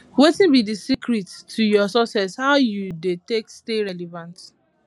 wetin be di secret to your success how you dey take stay relevant